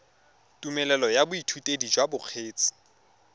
tumelelo ya boithutedi jwa bokgweetsi